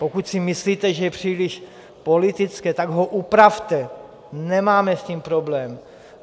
Pokud si myslíte, že je příliš politické, tak ho upravte, nemáme s tím problém.